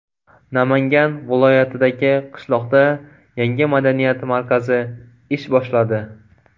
Namangan viloyatidagi qishloqda yangi madaniyat markazi ish boshladi.